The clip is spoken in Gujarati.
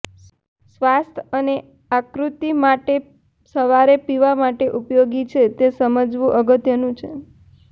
સ્વાસ્થ્ય અને આકૃતિ માટે સવારે પીવા માટે ઉપયોગી છે તે સમજવું અગત્યનું છે